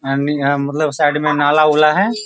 यहाँ हम मतलब साइड में नाला उला है।